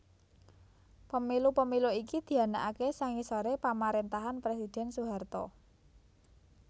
Pemilu Pemilu iki dianakaké sangisoré pamaréntahan Presidhèn Soeharto